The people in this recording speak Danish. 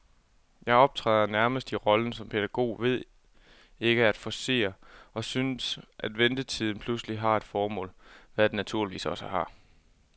Jeg optræder nærmest i rollen som pædagog ved ikke at forcere, og synes, at ventetiden pludselig har et formål, hvad den naturligvis også har.